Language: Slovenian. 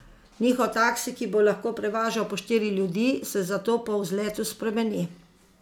Njihov taksi, ki bo lahko prevažal po štiri ljudi, se zato po vzletu spremeni.